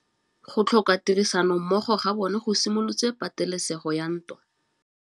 Go tlhoka tirsanommogo ga bone go simolotse patêlêsêgô ya ntwa.